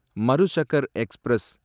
Marusagar express